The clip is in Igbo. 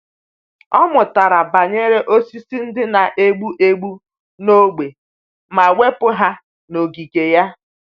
Ọ mụtara banyere osisi ndị na-egbu egbu n’ógbè ma wepụ ha n’ogige ya.